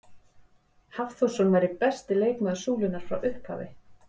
Hafþórsson væri besti leikmaður Súlunnar frá upphafi?